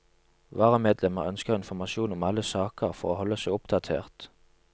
Varamedlemmer ønsker informasjon om alle saker for å holde seg oppdatert.